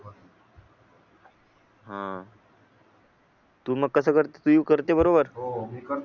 हा तू मग कसं करता तू करता बरोबर